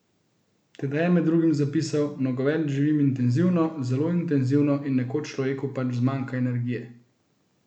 Tedaj je med drugim zapisal: "Nogomet živim intenzivno, zelo intenzivno, in nekoč človeku pač zmanjka energije.